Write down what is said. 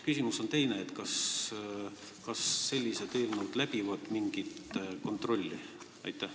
Küsimus on aga teine: kas sellised teemad läbivad mingi kontrolli?